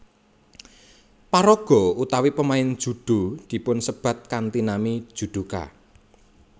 Paraga utawi pemain judo dipunsebat kanthi nami judoka